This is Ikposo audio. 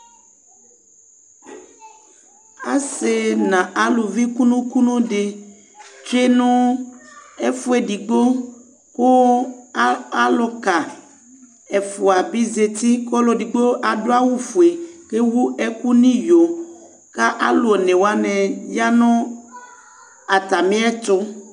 Asi nu eluvi kunu kunu di atsue nu ɛfuedigbo ku aluka ɛfua di bi zati ɔluedigbo adu awu fue ewu ɛku nu iyo ɛlu alu onewani ya nu atamiɛtu